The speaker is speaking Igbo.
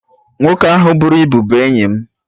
Nwoke ahụ buru ibu bụ enyi mụ